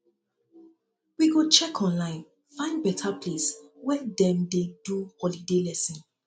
we go check um online find beta place um wey dem dey um do holiday lesson